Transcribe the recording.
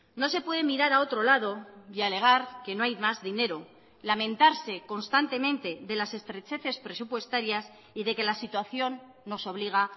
no se puede mirar a otro lado y alegar que no hay más dinero lamentarse constantemente de las estrecheces presupuestarias y de que la situación nos obliga